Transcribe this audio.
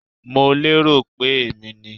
I was thinking It was me